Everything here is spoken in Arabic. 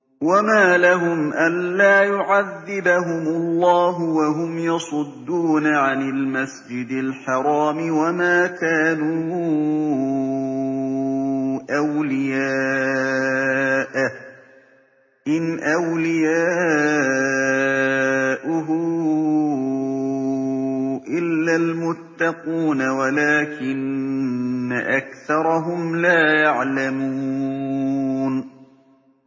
وَمَا لَهُمْ أَلَّا يُعَذِّبَهُمُ اللَّهُ وَهُمْ يَصُدُّونَ عَنِ الْمَسْجِدِ الْحَرَامِ وَمَا كَانُوا أَوْلِيَاءَهُ ۚ إِنْ أَوْلِيَاؤُهُ إِلَّا الْمُتَّقُونَ وَلَٰكِنَّ أَكْثَرَهُمْ لَا يَعْلَمُونَ